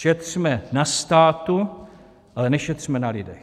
Šetřme na státu, ale nešetřme na lidech.